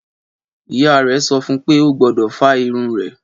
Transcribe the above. Ìyá rè sọfún pe ogbọ́dọ̀ fá irun rè